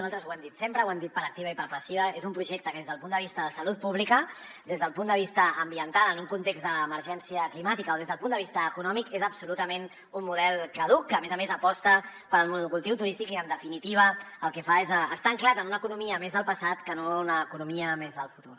nosaltres ho hem dit sempre ho hem dit per activa i per passiva és un projecte que des del punt de vista de salut pública des del punt de vista ambiental en un context d’emergència climàtica o des del punt de vista econòmic és absolutament un model caduc que a més a més aposta pel monocultiu turístic i en definitiva el que fa és estar ancorat en una economia més del passat que no en una economia més del futur